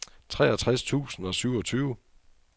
treogtres tusind og syvogtyve